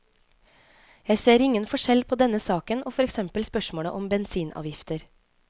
Jeg ser ingen forskjell på denne saken og for eksempel spørsmålet om bensinavgifter.